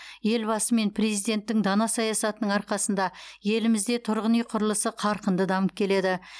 елбасы мен президенттің дана саясатының арқасында елімізде тұрғын үй құрылысы қарқынды дамып келеді